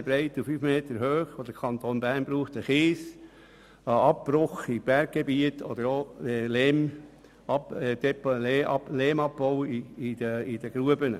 Dieses Volumen braucht der Kanton Bern jedes Jahr an Kies, an Abbruch im Berggebiet oder auch an Lehmabbau in den Gruben.